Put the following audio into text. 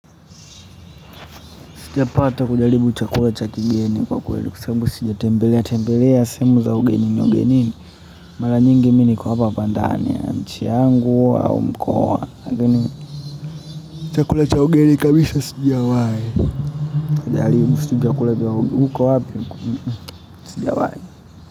Sijapata kujaribu chakula cha kigeni kwa kweli kwa sababu sijatembelea tembelea sehemu za ugenini ugenini mara nyingi mi niko hapa bandani ya nchi yangu au mkoa lakini, chakula cha ugeni kabisa sijawahi kujaribu sijui nikakula vya huko wapi sijawahi.